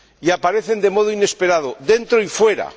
Aparecen de modo inesperado, dentro y fuera.